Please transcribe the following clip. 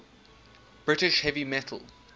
british heavy metal